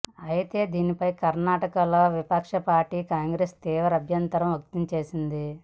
అయితే దీనిపై కర్ణాటకలో విపక్ష పార్టీ కాంగ్రెస్ తీవ్ర అభ్యంతరం వ్యక్తం చేసింది